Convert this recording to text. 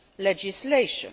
legislation.